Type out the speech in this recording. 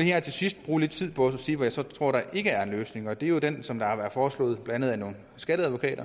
her til sidst bruge lidt tid på at sige hvad jeg så tror der ikke er en løsning og det er jo den som der har været foreslået blandt andet af nogle skatteadvokater